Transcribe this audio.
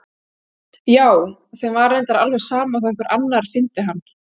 Já, þeim var reyndar alveg sama þó að einhver annar fyndi hann.